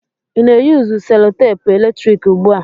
Ị na-eyusu selutepu eletrik ugbu a?